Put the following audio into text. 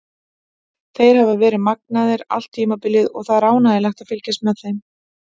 Þeir hafa verið magnaðir allt tímabilið og það er ánægjulegt að fylgjast með þeim.